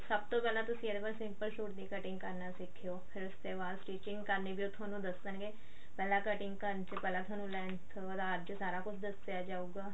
ਸਭ ਤੋਂ ਪਹਿਲਾਂ ਤੁਸੀਂ simple ਸੁਤ ਦੀ cutting ਕਰਨਾ ਸਿੱਖੇਓ ਉਸ ਤੇ ਬਾਅਦ ਉਹ stitching ਕਰਨੀ ਵੀ ਤੁਹਾਨੂੰ ਦੱਸਣਗੇ ਪਹਿਲਾਂ cutting ਕਰਨ ਚ ਪਹਿਲਾਂ ਥੋਨੂੰ length ਉਹਦਾ ਅੱਜ ਸਾਰਾ ਕੁੱਝ ਦੱਸਿਆ ਜਾਉਗਾ